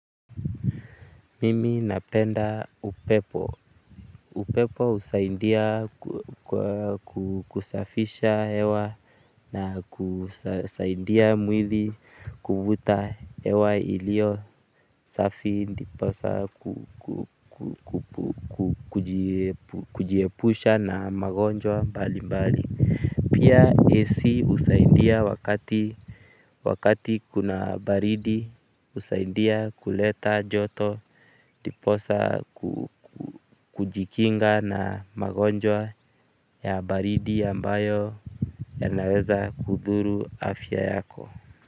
Mimi napenda upepo upepo husaidia kusafisha hewa na kusaidia mwili kuvuta hewa iliyo safi ndiposa kujiepusha na magonjwa mbalimbali pia AC husaidia wakati kuna baridi husaidia kuleta joto ndiposa kujikinga na magonjwa ya baridi ambayo yanaweza kudhuru afya yako.